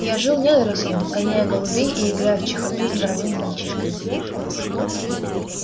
я жил недорослем гоняя голубей и играя в чехарду с дворовыми мальчишками